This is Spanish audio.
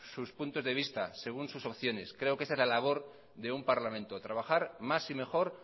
sus puntos de vista según sus opciones creo que esa es la labor de un parlamento trabajar más y mejor